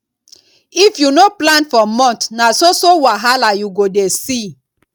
if you no plan for month na so so wahala you go dey see